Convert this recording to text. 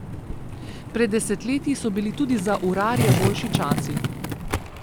Pred desetletji so bili tudi za urarje boljši časi.